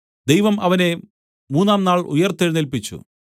ദൈവം അവനെ മൂന്നാം നാൾ ഉയിർത്തെഴുന്നേല്പിച്ചു